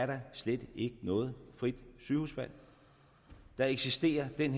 der slet ikke noget frit sygehusvalg da eksisterede den